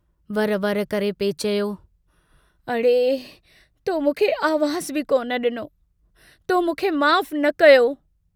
वर वर करे पिए चयो, अड़े..., तो मूंखे आवाज़ु बि कोन डिनो.... तो मूंखे माफ़ न कयो?